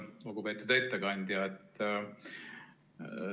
Lugupeetud ettekandja!